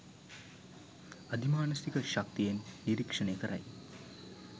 අධිමානසික ශක්තියෙන් නිරික්ෂණය කරයි.